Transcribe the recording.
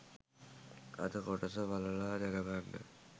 අද කොටස බලලා දැනගන්න.